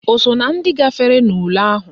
O so na ndị gafere n'ule ahụ?